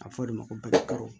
A fɔ o de ma ko balaka